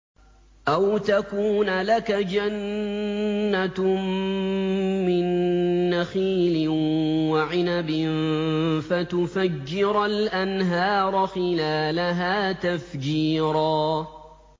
أَوْ تَكُونَ لَكَ جَنَّةٌ مِّن نَّخِيلٍ وَعِنَبٍ فَتُفَجِّرَ الْأَنْهَارَ خِلَالَهَا تَفْجِيرًا